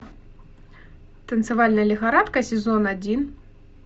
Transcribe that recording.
танцевальная лихорадка сезон один